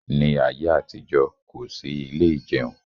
Ní ayé àtijọ́, kò sí ilé ìjẹun